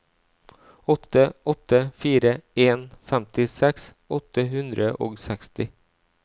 åtte åtte fire en femtiseks åtte hundre og seksti